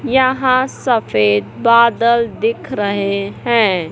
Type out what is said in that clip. यहां सफेद बादल दिख रहे हैं।